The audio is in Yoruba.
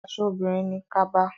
Aṣọ obìnrin ni kaba.